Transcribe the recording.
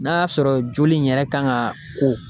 N'a y'a sɔrɔ joli in yɛrɛ kan ka ko